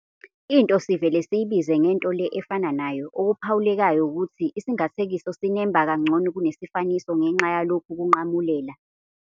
Into sivele siyibize ngento le efana nayo. Okuphawulekayo wukuthi isingathekiso sinemba kangcono kunesifaniso ngenxa yalokhu kunqamulela."